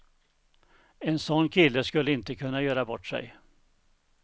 En sån kille skulle inte kunna göra bort sig.